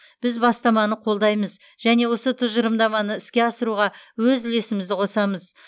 біз бастаманы қолдаймыз және осы тұжырымдаманы іске асыруға өз үлесімізді қосамыз